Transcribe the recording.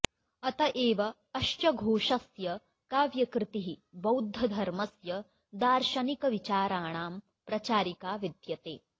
अत एव अश्चघोषस्य काव्यकृतिः बौध्दधर्मस्य दार्शनिकविचाराणां प्रचारिका विद्यते